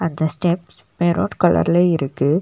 இந்த steps maroon கலர்ல இருக்கு.